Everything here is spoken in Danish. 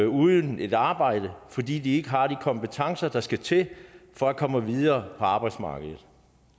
uden et arbejde fordi de ikke har de kompetencer der skal til for at komme videre på arbejdsmarkedet